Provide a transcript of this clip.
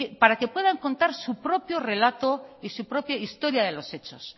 para que puedan contar su propio relato y su propia historia de los hechos